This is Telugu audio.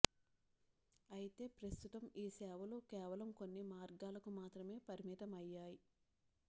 అయితే ప్రస్తుతం ఈ సేవలు కేవలం కొన్ని మార్గాలకు మాత్రమే పరిమితమయ్యాయి